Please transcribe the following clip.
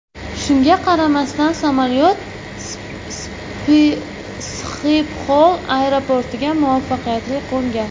Shunga qaramasdan, samolyot Sxipxol aeroportiga muvaffaqiyatli qo‘ngan.